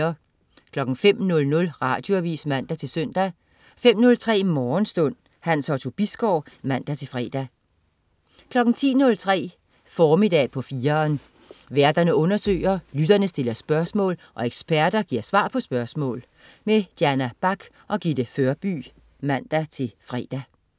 05.00 Radioavis (man-søn) 05.03 Morgenstund. Hans Otto Bisgaard (man-fre) 10.03 Formiddag på 4'eren. Værterne undersøger, lytterne stiller spørgsmål, og eksperterne giver svar på spørgsmål. Diana Bach og Gitte Førby (man-fre)